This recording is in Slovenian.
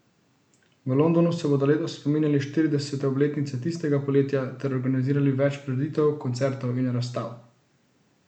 V Londonu se bodo letos spominjali štiridesete obletnice tistega poletja ter organizirali več prireditev, koncertov in razstav.